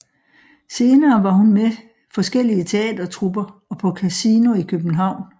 Senere var hun med forskellige teatertrupper og på Casino i København